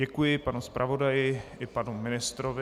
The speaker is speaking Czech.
Děkuji panu zpravodaji i panu ministrovi.